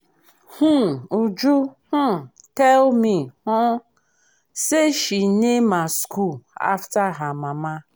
um uju um tell me um say she name her school after her mama